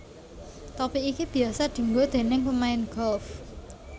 Topi iki biyasa dienggo déning pemain golf